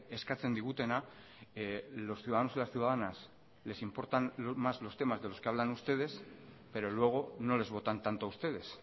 eskatzen digutena los ciudadanos y las ciudadanas les importan más los temas de los que hablan ustedes pero luego no les votan tanto a ustedes